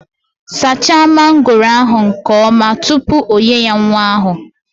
Saacha mangooro ahu nke oma tupu onye ya nwa ahu!